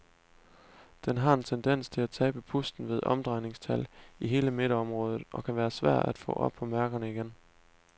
Den har en tendens til at tabe pusten ved omdrejningstal i hele midterområdet og kan være svær at få op på mærkerne igen.